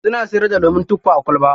Suna siyarda lemun tuffa a kwalba.